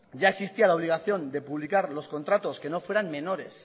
ya existía la obligación de publicar los contratos que no fueran menores